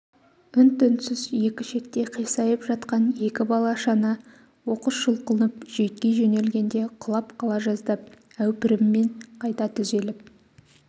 үн-түнсіз екі шетте қисайып жатқан екі бала шана оқыс жұлқынып жүйтки жөнелгенде құлап қала жаздап әупіріммен қайта түзеліп